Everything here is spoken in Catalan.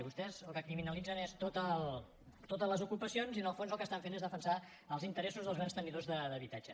vostès el que criminalitzen és totes les ocupacions i en el fons el que estan fent és defensar els interessos dels grans tenidors d’habitatge